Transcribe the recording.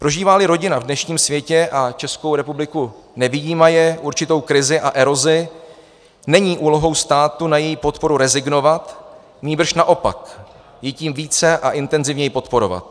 Prožívá-li rodina v dnešním světě, a Českou republiku nevyjímaje, určitou krizi a erozi, není úlohou státu na její podporu rezignovat, nýbrž naopak ji tím více a intenzivněji podporovat.